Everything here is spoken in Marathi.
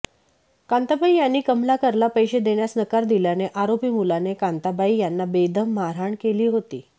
कांताबाई यांनी कमलाकरला पैसे देण्यास नकार दिल्याने आरोपी मुलाने कांताबाई यांना बेदम मारहाण केली होती